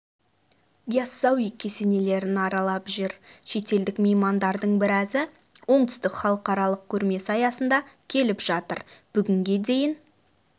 яссауи кесенелерін аралап жүр шетелдік меймандардың біразы оңтүстікке халықаралық көрмесі аясында келіп жатыр бүгінге дейін